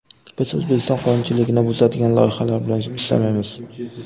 Biz O‘zbekiston qonunchiligini buzadigan loyihalar bilan ishlamaymiz.